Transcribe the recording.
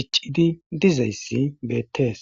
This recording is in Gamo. diccidi dizayssi beettees